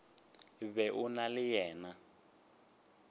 be o na le yena